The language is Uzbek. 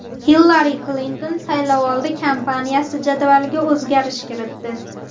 Hillari Klinton saylovoldi kampaniyasi jadvaliga o‘zgarish kiritdi.